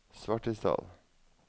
Svartisdal